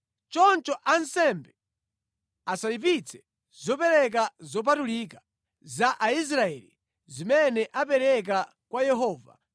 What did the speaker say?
Choncho ansembe asayipitse zopereka zopatulika za Aisraeli zimene apereka kwa Yehova